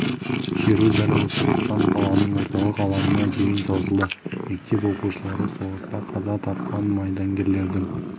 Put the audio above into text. шеру дәл осы тұстан қаланың орталық алаңына дейін созылды мектеп оқушылары соғыста қаза тапқан майдангерлердің